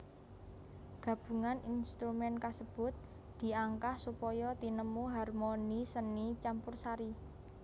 Gabungan instrumen kasebut diangkah supaya tinemu harmoni seni campursri